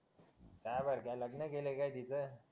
काय बर का लग्न केलंय का तीच